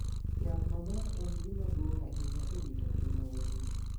Yath maber en gima duong' ahinya e rito ngima winy.